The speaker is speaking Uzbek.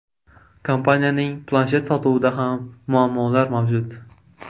Kompaniyaning planshet sotuvida ham muammolar mavjud.